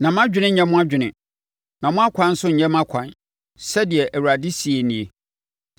“Na mʼadwene nnyɛ mo adwene, na mo akwan nso nnyɛ mʼakwan,” sɛdeɛ Awurade seɛ nie.